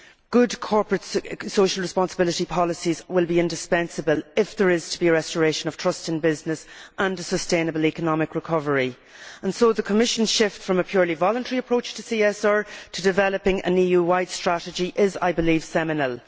Good corporate social responsibility policies will be indispensable if there is to be a restoration of trust in business and a sustainable economic recovery, and so the Commission's shift from a purely voluntary approach to CSR to developing an EU wide strategy is, I believe, seminal.